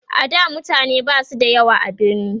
a da mutane Basu da yawa a birni